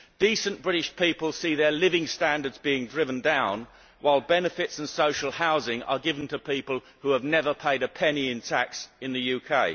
Decent British people see their living standards being driven down, while benefits and social housing are given to people who have never paid a penny in tax in the UK.